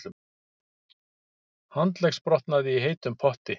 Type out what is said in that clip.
Handleggsbrotnaði í heitum potti